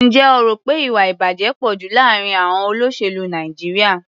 Ǹjẹ́ o rò pé ìwà-ìbàjẹ́ pọ̀ jù láàárín àọn olóṣèlú Nàìjíríà?